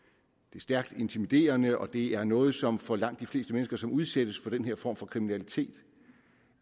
er stærkt intimiderende og det er noget som for langt de fleste mennesker som udsættes for den her form for kriminalitet